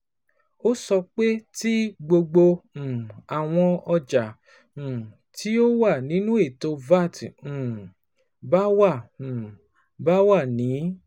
O sọ pe ti gbogbo um awọn ọja um ti o wa ninu eto VAT um ba wa um ba wa ni